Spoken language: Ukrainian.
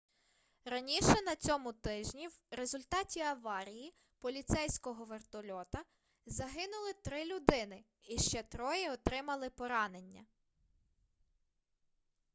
раніше на цьому тижні в результаті аварії поліцейського вертольота загинули три людини і ще троє отримали поранення